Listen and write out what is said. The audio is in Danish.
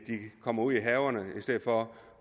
kommer ud i haverne med i stedet for